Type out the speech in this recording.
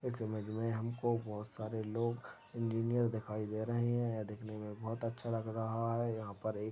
इस इमेज मे हम को बहोत सारे लोग इंजीनियर दिखाई दे रहे है यह दिखने मे बहोत अच्छा लग रहा है यहाँ पर एक --